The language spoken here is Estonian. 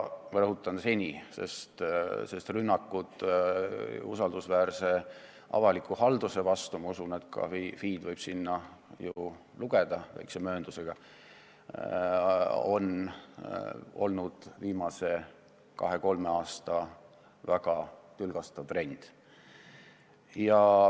Ma rõhutan sõna "seni", sest rünnakud usaldusväärse avaliku halduse vastu – ma usun, et ka FI võib väikse mööndusega selle hulka lugeda – on olnud viimase kahe-kolme aasta tülgastav trend.